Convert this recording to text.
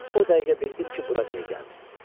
O dəqiqə bildim ki, bura niyə gəlmisiniz.